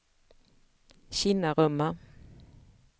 Kinnarumma